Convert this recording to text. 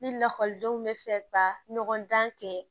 Ni lakɔlidenw bɛ fɛ ka ɲɔgɔn dan kɛ